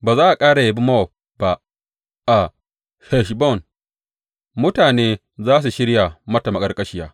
Ba za a ƙara yabi Mowab ba; a Heshbon mutane za su shirya mata maƙarƙashiya.